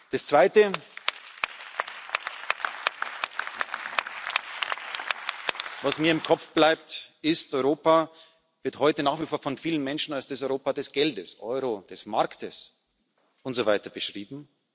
Das Zweite, was mir im Kopf bleibt, ist Europa wird heute nach wie vor von vielen Menschen als das Europa des Geldes, des Euro, des Marktes und so weiter beschrieben.